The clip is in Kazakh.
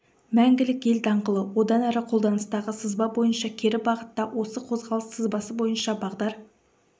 мәңгілік ел даңғылы одан әрі қолданыстағы сызба бойынша кері бағытта осы қозғалыс сызбасы бойынша бағдар